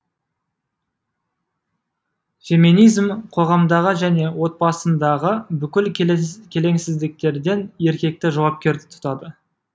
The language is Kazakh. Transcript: феминизм қоғамдағы және отбасындағы бүкіл келеңсіздіктерден еркекті жауапкер тұтады